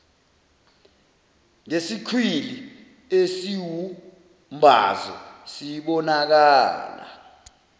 ngesikhwili esiwumbazo sibonakala